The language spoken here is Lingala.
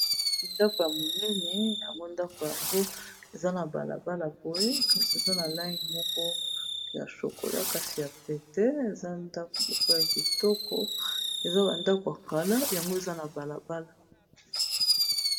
Ndako ya monene yango ndako yango eza na balabala boye kasi eza na langi moko ya shokola kasi ya pete eza ndako ya kitoko eza ba ndako ya kala yango eza na balabala.